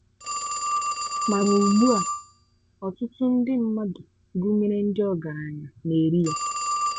Ma n’ùgbúà, ọ̀tùtù ndị mmadụ gụnyere ndị ògáráńya na-èrì ya.